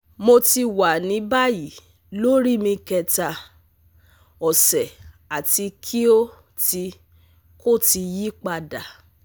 Mo ti wa ni bayi lori mi kẹta ọsẹ ati ki o ti ko ti yipada